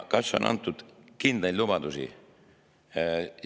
Kas on antud kindlaid lubadusi?